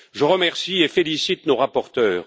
Je remercie et félicite nos rapporteurs.